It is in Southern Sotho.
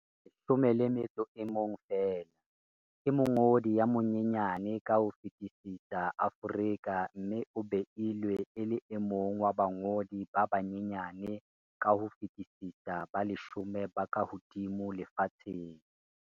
11 feela, ke mongodi ya monyenyane ka ho fetisisa Aforika mme o beilwe e le e mong wa bangodi ba banyenyane ka ho fetisisa ba leshome ba kahodimo lefatsheng.